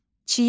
Çiyələk.